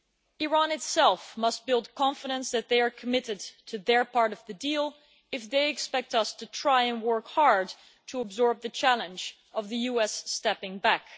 Iran itself must build confidence that they are committed to their part of the deal if they expect us to try and work hard to absorb the challenge of the US stepping back.